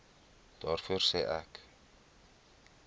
daarvoor sê ek